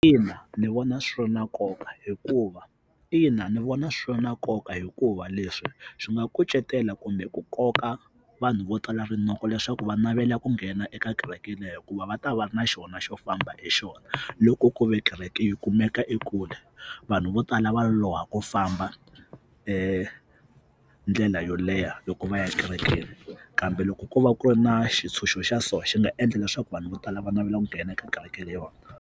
Ina, ndzi vona swi ri na nkoka hikuva ina ni vona swi na nkoka hikuva leswi swi nga kucetela kumbe ku koka vanhu vo tala rinoko leswaku va navela ku nghena eka kereke leyo hikuva va ta va ri na xona xo famba hi xona loko ku ve kereke yi kumeka ekule vanhu vo tala va loloha ku famba ndlela yo leha loko va ya kerekeni kambe loko ko va ku ri na xitshunxo xa so xi nga endla leswaku vanhu vo tala va navela ku nghena eka kereke leyiwani.